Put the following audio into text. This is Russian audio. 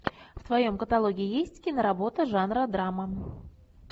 в твоем каталоге есть киноработа жанра драма